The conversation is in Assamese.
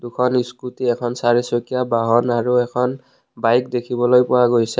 দুখন স্কুটী এখন চাৰিচকীয়া বাহন আৰু এখন বইক দেখিবলৈ পোৱা গৈছে।